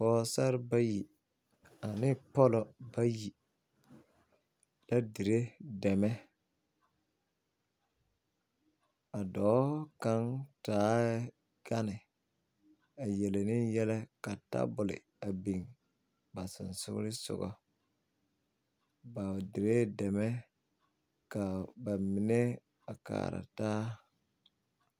Pɔɔsare bayi ane pɔlɔ bayi la dire dɛmɛ a dɔɔ kaŋ taaɛ ɡane a yele ne yɛlɛ ka tabol a biŋ a sonsoolensoɡa ba diree dɛmɛ ka ba mine a kaaraa taa.